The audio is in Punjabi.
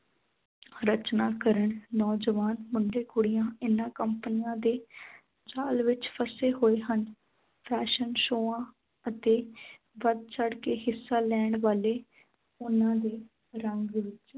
ਰਚਨਾ ਕਰਨ ਨੌਜਵਾਨ ਮੁੰਡੇ ਕੁੜੀਆਂ ਇਨ੍ਹਾਂ ਕੰਪਨੀਆਂ ਦੇ ਜਾਲ ਵਿੱਚ ਫਸੇ ਹੋਏ ਹਨ fashion ਸ਼ੋਆ ਅਤੇ ਵੱਧ ਚੜ੍ਹ ਕੇ ਹਿੱਸਾ ਲੈਣ ਵਾਲੇ ਉਨ੍ਹਾਂ ਦੇ ਰੰਗ ਵਿੱਚ